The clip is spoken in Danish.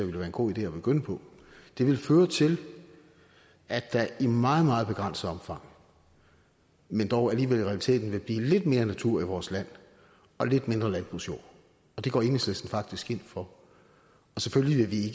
være en god idé at begynde på det ville føre til at der i meget meget begrænset omfang men dog alligevel i realiteten ville blive lidt mere natur i vores land og lidt mindre landbrugsjord og det går enhedslisten faktisk ind for og selvfølgelig vil vi